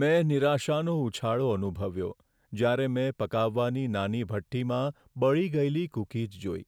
મેં નિરાશાનો ઉછાળો અનુભવ્યો જ્યારે મેં પકાવવાની નાની ભઠ્ઠીમાં બળી ગયેલી કૂકીઝ જોઈ.